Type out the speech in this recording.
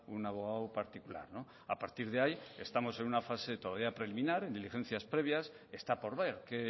un abogado particular a partir de ahí estamos en una fase todavía preliminar en diligencias previas está por ver qué